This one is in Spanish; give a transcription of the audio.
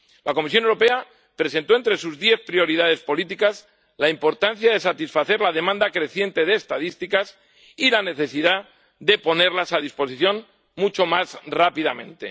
La Comisión Europea presentó entre sus diez prioridades políticas la importancia de satisfacer la demanda creciente de estadísticas y la necesidad de ponerlas a disposición mucho más rápidamente.